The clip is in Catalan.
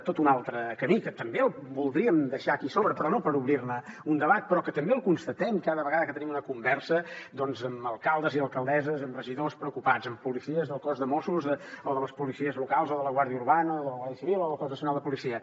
tot un altre camí que també el voldríem deixar aquí sobre però no per obrir ne un debat però que també el constatem cada vegada que tenim una conversa amb alcaldes i alcaldesses amb regidors preocupats amb policies del cos de mossos o de les policies locals o de la guàrdia urbana o de la guàrdia civil o del cos nacional de policia